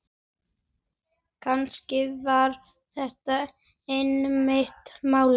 Kannski var þetta einmitt málið.